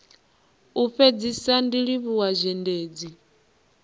u fhedzisa ndi livhuwa zhendedzi